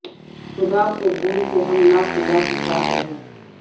خدا کو بھول کے ہم ناخدا کے ساتھ رہے